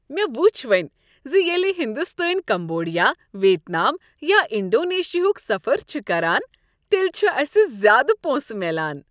مےٚ وچھ وۄنۍ زِ ییٚلہ ہندوستٲنۍ کمبوڈیا، ویتنام یا انڈونیشیاہک سفر چھ کران تیٚلہ چھ اسہ زیادٕ پونٛسہٕ میلان۔